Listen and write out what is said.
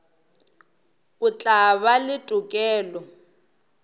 o tla ba le tokelo